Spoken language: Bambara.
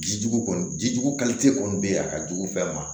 Ji jugu kɔni jijugu kɔni bɛ yen a ka jugu fɛn ma